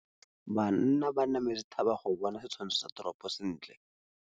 Banna ba nametse thaba go bona setshwantsho sa toropô sentle.